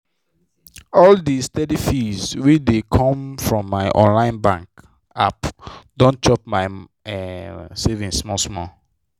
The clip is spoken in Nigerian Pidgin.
all the steady fees wey dey come from my online bank app don dey chop my um savings small small.